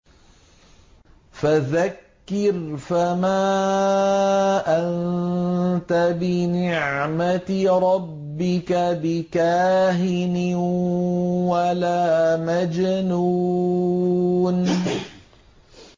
فَذَكِّرْ فَمَا أَنتَ بِنِعْمَتِ رَبِّكَ بِكَاهِنٍ وَلَا مَجْنُونٍ